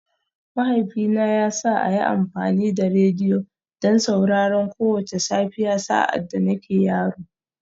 Mahaifina ya sa a yi amfani da rediyo don sauraron kowace safiya sa’ad da nake yaro